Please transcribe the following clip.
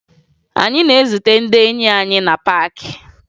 Anyị na-ezute ndị enyi anyị na paakị